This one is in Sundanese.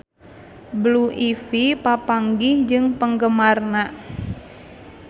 Blue Ivy papanggih jeung penggemarna